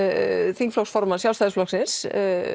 þingflokksformann Sjálfstæðisflokksins